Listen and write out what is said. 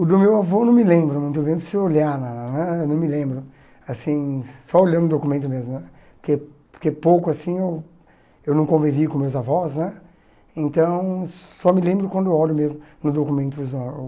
O do meu avô eu não me lembro não, eu lembro se eu olhar na na na, não me lembro, assim só olhando o documento mesmo né, porque porque pouco assim eu eu não convivi com meus avós né, então só me lembro quando eu olho mesmo no documentos lá o